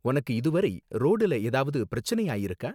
உனக்கு இதுவரை ரோடுல ஏதாவது பிரச்சனை ஆயிருக்கா?